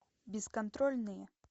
бесконтрольные